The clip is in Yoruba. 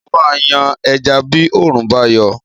Mo máa yan ẹja bí òórùn bá yọ